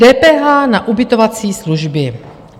DPH na ubytovací služby.